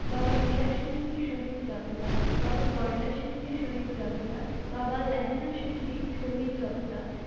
বাবা হীরা সিং জি শহীদ জোঠেদার, বাবা গন্দা সিং জি শহীদ জোঠেদার, বাবা লেহেনা সিং জি শহীদ জোঠেদার